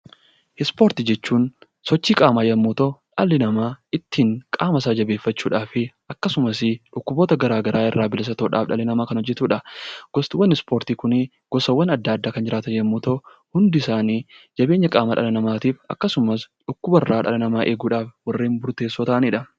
Ispoortii jechuun sochii qaamaa yemmuu ta'u, dhalli namaa ittiin qaama isaa jabeeffachuudhaaf akkasumas dhukkuboota garaagaraa irraa bilisa ta'uuf dhalli namaa kan hojjetudha. Gosaawwan ispoortii Kun gosaawwan addaa addaa kan jiraatan yoo ta'u, hundi isaanii jabeenya qaamaaf akkasumas dhibeewwaan dhala namaa irraa eeguuf isaan murteessoo ta'anidha.